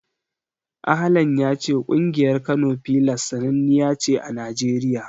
Ahlan ya ce ƙungiyar Kano Pillars sananniya ce a Najeriya.